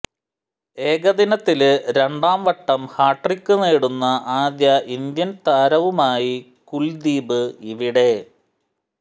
ഏകദിനത്തില് രണ്ടാം വട്ടം ഹാട്രിക് നേടുന്ന ആദ്യ ഇന്ത്യന് താരവുമായി കുല്ദീപ് ഇവിടെ